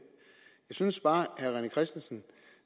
synes bare at herre rené christensen